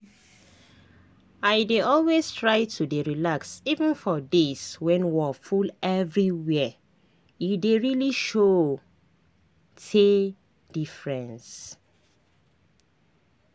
i dey always try to dey relax even for days when wor full everywhere e dey really show teh diffre